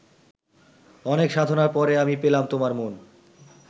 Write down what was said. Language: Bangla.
অনেক সাধনার পরে আমি পেলাম তোমার মন